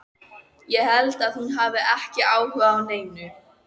Ég held að hún hafi ekki áhuga á neinu í